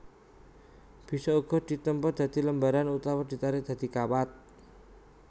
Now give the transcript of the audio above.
Bisa uga ditempa dadi lembaran utawa ditarik dadi kawat